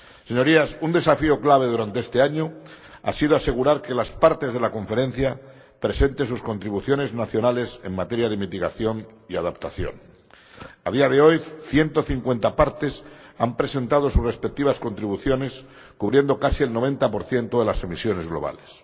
Señorías, un desafío clave durante este año ha sido asegurar que las Partes de la Conferencia presenten sus contribuciones nacionales en materia de mitigación y adaptación. A día de hoy, ciento cincuenta Partes han presentado sus respectivas contribuciones cubriendo casi el 90 de las emisiones globales.